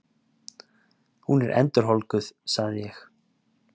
Hún er endurholdguð, sagði ég.